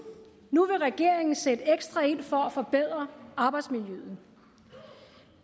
nu vil regeringen sætte ekstra ind for at forbedre arbejdsmiljøet